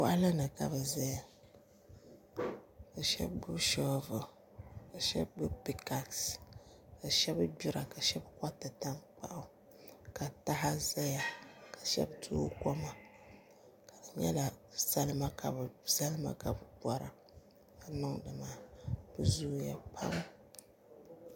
Boɣali ni ka bi ʒɛya ka shab gbubi shoovul ka shab gbubi pingaas ka shab gbira ka shab koriti tankpaɣu ka taha ʒɛya ka shab tooi koma ka di nyɛla salima ka bi bora ka niŋdi maa bi zooya pam